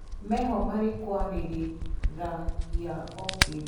Meho marĩkwarĩriragia o kĩndũ.